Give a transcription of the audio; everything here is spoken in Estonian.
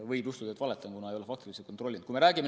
Võib juhtuda, et ütlen valesti, kuna ei ole fakte kontrollinud.